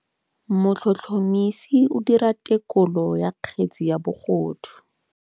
Motlhotlhomisi o dira têkolô ya kgetse ya bogodu.